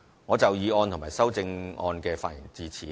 我就議案及修正案的發言至此。